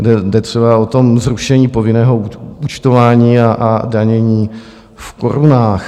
Jde třeba o to zrušení povinného účtování a danění v korunách.